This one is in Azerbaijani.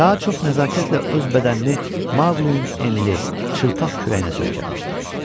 Ka çox nəzakətlə öz bədənini Maqlinin enli, çılpaq kürəyinə söykənmişdi.